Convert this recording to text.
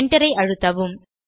Enterஐ அழுத்தவும்